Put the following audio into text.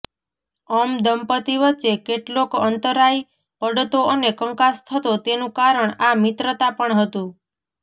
અમ દંપતી વચ્ચે કેટલોક અંતરાય પડતો અને કંકાસ થતો તેનું કારણ આ મિત્રતા પણ હતું